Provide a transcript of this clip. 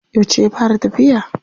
Yauce ya fara tafiya.